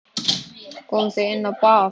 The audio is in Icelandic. Komið þið inn á bað.